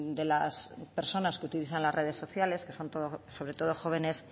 de las personas que utilizan las redes sociales que son sobre todo jóvenes